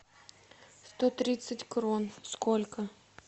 сто тридцать крон сколько